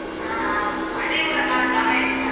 ಹ್ಮ್ ಹ್ಮ್ ಹಳ್ಳಿ ಊರಲ್ಲ ಜಾಗ ಇರುತ್ತಲ್ಲ.